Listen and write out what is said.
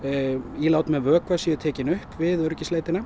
ílát með vökva séu tekin upp við